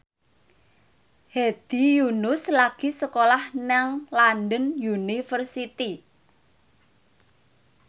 Hedi Yunus lagi sekolah nang London University